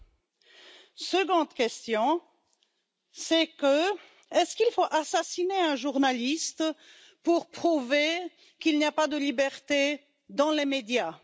Deuxième question est ce qu'il faut assassiner un journaliste pour prouver qu'il n'y a pas de liberté dans les médias?